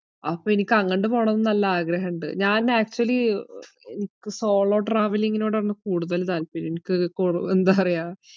അപ്പോ എനിക്കങ്ങട്ട് പോണംന്ന് നല്ല ആഗ്രഹിണ്ട്. ഞാൻ actually അഹ് എനിക്ക് solo travelling നോടാണ് കൂടുതൽ താല്പര്യം. എനിക്കത് കൊറോ~ എന്താ പറയ്യാ.